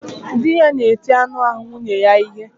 Dị ya na-eti anụ ahụ nwunye ya ihe